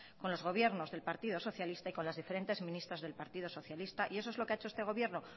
con los gobiernos del partido socialista y con las diferentes ministras del partido socialista y eso es lo que ha hecho este gobierno